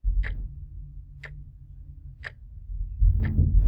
ore enkiremore embukokinoto enkare naa keponaa eishoi